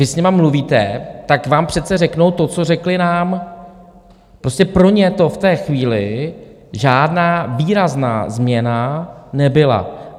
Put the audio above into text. Vy s nimi mluvíte, tak vám přece řeknou to, co řekli nám - prostě pro ně to v té chvíli žádná výrazná změna nebyla.